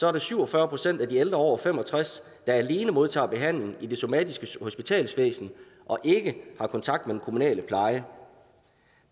er det syv og fyrre procent af de ældre over fem og tres år der alene modtager behandling i det somatiske hospitalsvæsen og ikke har kontakt med den kommunale pleje